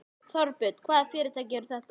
Þorbjörn: Hvaða fyrirtæki eru þetta?